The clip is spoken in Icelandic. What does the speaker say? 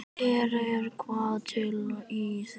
Er eitthvað til í því?